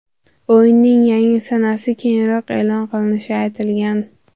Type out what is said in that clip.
O‘yinning yangi sanasi keyinroq e’lon qilinishi aytilgan.